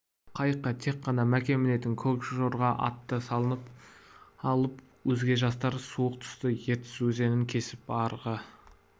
қайыққа тек қана мәкен мінетін көк жорға атты салып алып өзге жастар суық түсті ертіс өзенін кесіп арғы